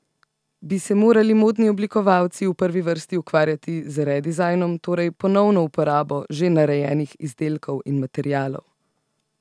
Bi se morali modni oblikovalci v prvi vrsti ukvarjati z redizajnom, torej ponovno uporabo že narejenih izdelkov in materialov?